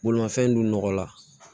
Bolimafɛn dun nɔgɔla